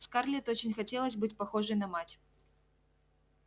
скарлетт очень хотелось быть похожей на мать